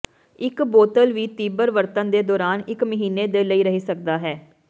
ਇਕ ਬੋਤਲ ਵੀ ਤੀਬਰ ਵਰਤਣ ਦੇ ਦੌਰਾਨ ਇੱਕ ਮਹੀਨੇ ਦੇ ਲਈ ਰਹਿ ਸਕਦਾ ਹੈ